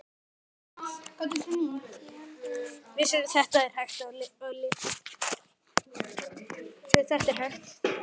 Hvar er Helga, Steini minn?